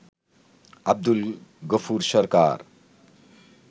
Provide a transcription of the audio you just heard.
Abdul Gafur Sarkar